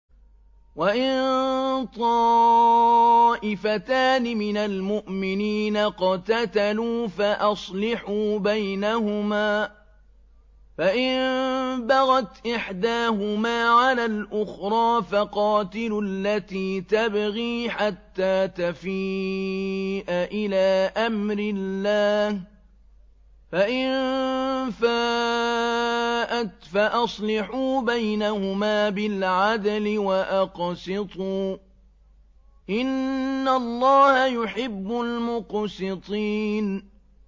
وَإِن طَائِفَتَانِ مِنَ الْمُؤْمِنِينَ اقْتَتَلُوا فَأَصْلِحُوا بَيْنَهُمَا ۖ فَإِن بَغَتْ إِحْدَاهُمَا عَلَى الْأُخْرَىٰ فَقَاتِلُوا الَّتِي تَبْغِي حَتَّىٰ تَفِيءَ إِلَىٰ أَمْرِ اللَّهِ ۚ فَإِن فَاءَتْ فَأَصْلِحُوا بَيْنَهُمَا بِالْعَدْلِ وَأَقْسِطُوا ۖ إِنَّ اللَّهَ يُحِبُّ الْمُقْسِطِينَ